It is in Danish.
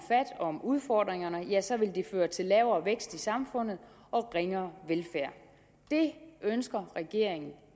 om udfordringerne ja så vil det føre til lavere vækst i samfundet og ringere velfærd det ønsker regeringen